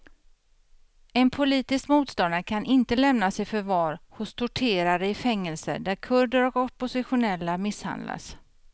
En politisk motståndare kan inte lämnas i förvar hos torterare i fängelser där kurder och oppositionella misshandlas.